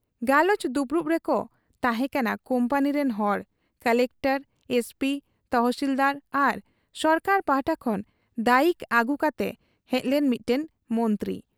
ᱜᱟᱞᱚᱪ ᱫᱩᱯᱩᱲᱩᱵ ᱨᱮᱠᱚ ᱛᱟᱦᱮᱸ ᱠᱟᱱᱟ ᱠᱩᱢᱯᱟᱱᱤ ᱨᱤᱱ ᱦᱚᱲ, ᱠᱚᱞᱮᱠᱴᱚᱨ, ᱮᱥᱯᱤ, ᱛᱚᱦᱥᱤᱞᱫᱟᱨ ᱟᱨ ᱥᱚᱨᱠᱟᱨ ᱯᱟᱦᱴᱟ ᱠᱷᱚᱱ ᱫᱟᱭᱤᱠ ᱟᱹᱜᱩ ᱠᱟᱛᱮ ᱦᱮᱡᱞᱮᱱ ᱢᱤᱫᱴᱟᱹᱝ ᱢᱚᱱᱛᱨᱤ ᱾